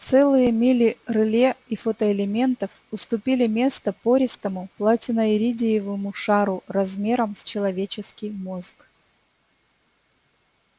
целые мили реле и фотоэлементов уступили место пористому платиноиридиевому шару размером с человеческий мозг